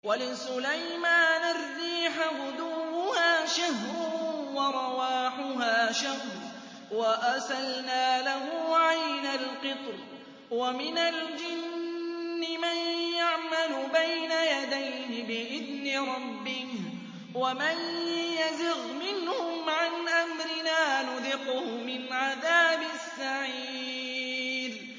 وَلِسُلَيْمَانَ الرِّيحَ غُدُوُّهَا شَهْرٌ وَرَوَاحُهَا شَهْرٌ ۖ وَأَسَلْنَا لَهُ عَيْنَ الْقِطْرِ ۖ وَمِنَ الْجِنِّ مَن يَعْمَلُ بَيْنَ يَدَيْهِ بِإِذْنِ رَبِّهِ ۖ وَمَن يَزِغْ مِنْهُمْ عَنْ أَمْرِنَا نُذِقْهُ مِنْ عَذَابِ السَّعِيرِ